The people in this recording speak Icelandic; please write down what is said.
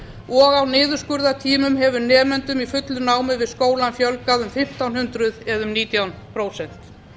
og á niðurskurðartímum hefur nemendum í fullu námi við skólann fjölgað um fimmtán hundruð eða um nítján prósent